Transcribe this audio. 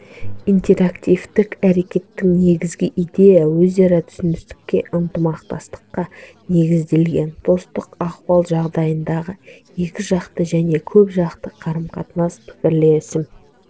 интерактивтік әрекеттің негізгі идеясы өзара түсіністікке ынтымақтастыққа негізделген достық ахуал жағдайындағы екіжақты және көпжақты қарым-қатынас пікірлесім